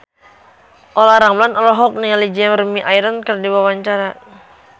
Olla Ramlan olohok ningali Jeremy Irons keur diwawancara